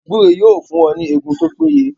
Gbúre yóò fún ọ ní Egun tó pé ye